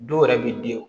Dɔw yɛrɛ bi den o